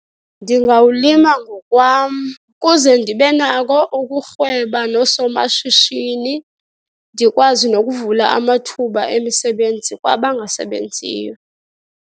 Ndingawulima ngokwam kuze ndibe nako ukurhweba noosomashishini, ndikwazi nokuvula amathuba emisebenzi kwabangasebenziyo.